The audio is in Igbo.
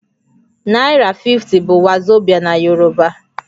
Naira 50 bụ wazobia na Yorùbá